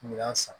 N'u y'a san